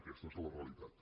aquesta és la realitat